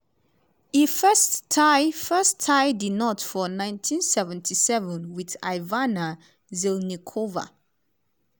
e first tie first tie di knot for 1977 wit ivana zelníčková.